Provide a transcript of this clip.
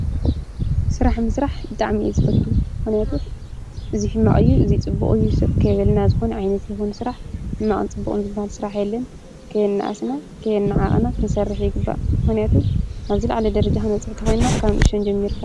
ስራሓ ምስራሓብጣዕሚ እየ ዝፎቱ ምክያቱ እዚይ ሕማቅ እዩዙፅቡቁ አዩ ስቅ ከይበልና ዘኮነ ዓይነት ስራሓ ሕማቅኒ ፁበቁኑ ዝባሃል ስራሓ የለነ ከይ ኣናኣስና፣ ከይኣናዓቅና መስራሓ ይግባኣ ምክንያቱ ኣብ ዝላዓለ ደረጃ ክኒበፅሕ እኒተኮይናካብ ኒእሽተይ ጀሚርና።